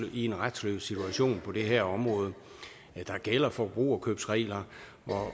i en retsløs situation på det her område der gælder forbrugerkøbsregler